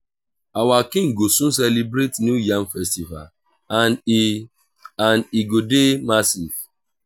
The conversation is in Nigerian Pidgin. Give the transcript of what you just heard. our king go soon celebrate new yam festival and e and e go dey massive